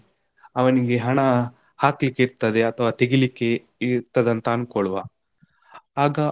ಅವನಿಗೆ ಹಣ ಹಾಕ್ಲಿಕೆ ಇರ್ತದೆ ಅಥವಾ ತೆಗಿಲಿಕ್ಕೆ ಇರ್ತದೆ ಅಂತ ಅಂದ್ಕೊಲ್ವಾ ಆಗ.